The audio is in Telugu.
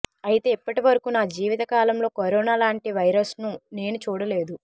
అయితే ఇప్పటివరకు నా జీవిత కాలంలో కరోనా లాంటి వైరస్ను నేను చూడలేదు